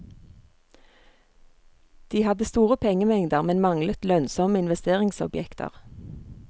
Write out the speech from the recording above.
De hadde store pengemengder, men manglet lønnsomme investeringsobjekter.